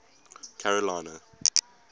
carolina